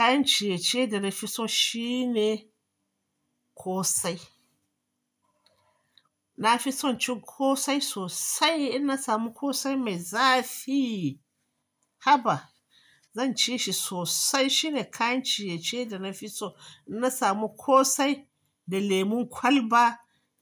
Kayan ciye-ciye da na fi so shine ƙosai. Na fi son cin ƙosai sosai. In na samu ƙosai mai zafi, haba, zan ci shi sosai. Shine kayan ciye-ciye da na fi so. In na samu ƙosai da lemon kwalba,